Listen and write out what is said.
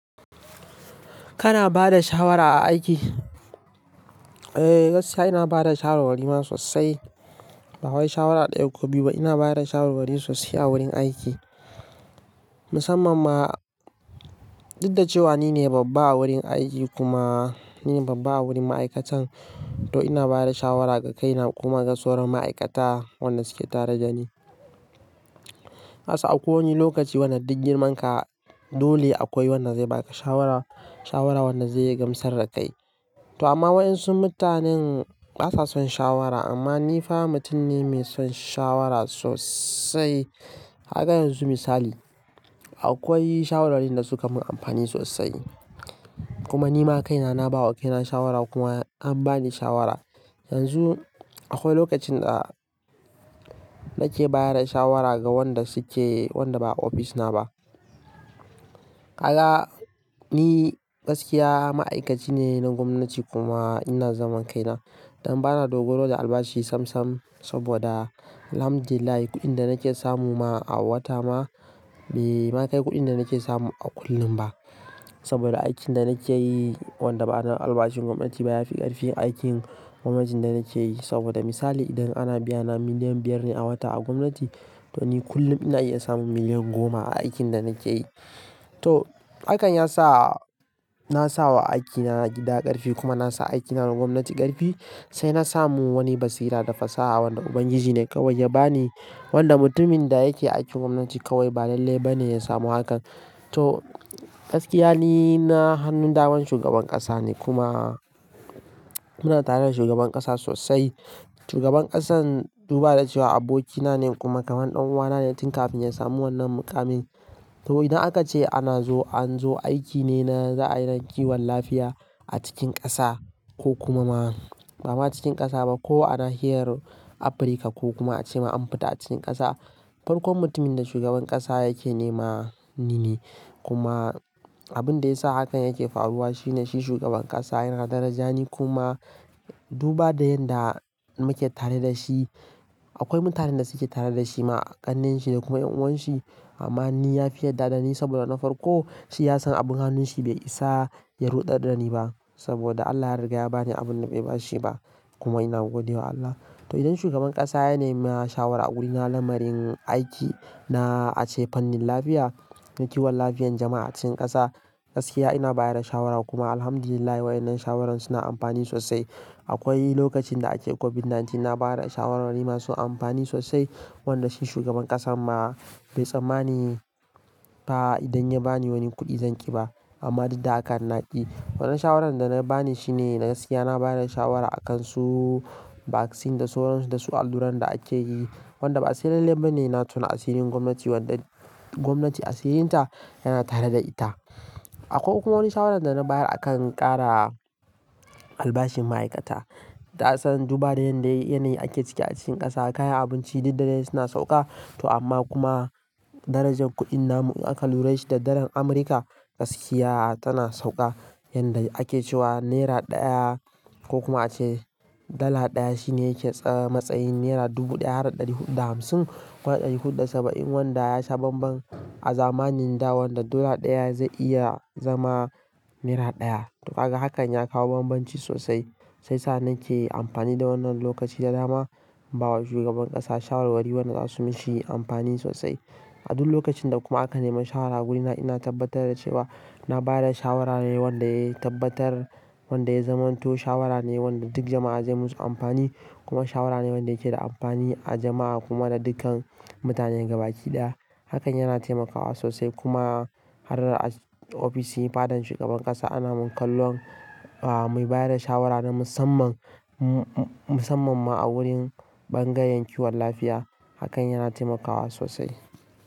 Kana ba da shawara a aiki? Eh, gaskiya ina ba da shawarwari ma sossai Ba wai shawara ɗaya ko biyu ba, ina ba da shawarwari sosai a wurin aiki. Musamman ma, duk da cewa nine babba a wurin aiki kuma nine babba a wurin ma'aikatan to ina ba da shawara ga kaina kuma ga sauran ma'aikata wanda suke tare da ni. Kasan akwai wani lokaci wanda duk girman ka dole akwai wanda zaiba ka shawara, shawara wanda zai iya gamsar da kai. To amma waɗansu mutanen basa son shawara, amma ni fa mutum ne mai son shawara sosai. Kaga yanzu misali, akwai shawarwari da suka mun amfani sosai. Kuma nima kaina naba wa kaina shawara kuma an bani shawara. Yanzu, akwai lokacin da nake ba da shawara ga wanda suke, wanda ba a ofis na ba. Kaga ni gaskiya ma'aikaci ne na gwamnati kuma ina zaman kaina. Dan bana dogaro da albashi sam sam saboda Alhamdulillah kuɗin da nake samu ma a wata ma, bai ma kai kuɗin da nake samu a kullum ba. Saboda aikin da nake yi wanda bana albashin gwamnati baya fi ƙarfin aikin gwamnatin da nake yi. Saboda misali idan ana biyana miliyan biyar ne a wata a gwamnati, to ni kullum ina iya samun miliyan goma a aikin da nake yi. To hakan ya sa na sa wa aikina na gida ƙarfi kuma na sa aikina na gwamnati ƙarfi. Sai na samu wani basira da fasaha wanda Ubangiji ne kawai ya bani. Wanda mutumin da yake aikin gwamnati kawai ba lalle ba ne ya samu hakan. To gaskiya ni na hannun daman shugaban ƙasa ne kuma muna tare da shugaban ƙasa sosai. Shugaban ƙasan duba da cewa abokina ne kuma kaman ɗan uwana ne tun kafin ya samu wannan muƙamin. To idan aka ce ana zo, an zo aiki ne na za'a yi na kiwon lafiya a cikin ƙasa ko kuma ma, ba ma cikin ƙasa ba ko anahiyar Afirka ko kuma a ce ma an fita a cikin ƙasa. Farkon mutumin da shugaban ƙasa yake nema nine. Kuma abin da ya sa hakan yake faruwa shine shi shugaban ƙasa yana daraja ni kuma duba da yanda muke tare da shi, akwai mutanen da suke tare da shi ma, ƙannenshi da kuma ƴan'uwanshi. Amma ni ya fi yarda ɗani saboda na farko shi ya san abin hannun shi bai isa ya ruɗe da ni ba. Saboda Allah ya riga ya bani abin da bai ba shi ba. Kuma ina gode wa Allah. To idan shugaban ƙasa ya nema shawara a wurina na lamarin aiki na ace fannin lafiya, na kiwon lafiyan jama'a a cikin ƙasa, gaskiya ina baya da shawara kuma Alhamdulillah waɗannan shawarar suna amfani sosai. Akwai lokacin da ake COVID-19 na ba da shawarwari masu amfani sosai. Wanda shi shugaban ƙasan ma bai tsammani ba idan ya bani wani kuɗi zan ƙi ba. Amma duk da haka na ƙi. Wannan shawarar da na bani shine gaskiya na ba da shawara a kan su vaccine da suwaransu da su alluran da ake yi. Wanda ba se lalle ba ne na tona asirin gwamnati wanda gwamnati asirinta yana tare da ita. Akwa kuma wani shawarar da na bayar akan ƙara albashin ma'aikata. Kasan duba da yanda yanayi ake ciki a cikin ƙasa, kayan abinci duk da dai suna sauƙa. To amma kuma darajar kuɗin namu in aka lura da shi da dalar Amurka, gaskiya tana sauƙa. Yanda ake cewa naira ɗaya ko kuma a ce dala ɗaya shine yake tsamatsayin naira dubu ɗaya da ɗari huɗu da hamsin ko ɗari huɗu da saba'in wanda ya sa banban a zamanin dawon da dala ɗaya zai iya zama naira ɗaya. To haka hakan ya kawo banbanci sosai. Sai sa nake yi amfani da wannan lokaci da dama bawa shugaban ƙasa shawarwari wanda za su mishi amfani sosai. A duk lokacin da kuma aka nema shawara a wurina ina tabbatar da cewa na ba da shawara ne wanda ya tabbatar, wanda ya zama to shawara ne wanda duk jama'a zai musu amfani. Kuma shawara ne wanda yake da amfani a jama'a kuma da dukkan mutanen gaba ɗaya. Hakan yana taimakawa sosai kuma har a ofis din fadan shugaban ƙasa ana mun kallon, aah, mai ba da shawara na musamman, musamman ma a wurin bangayen kiwon lafiya. Hakan yana taimakawa sosai.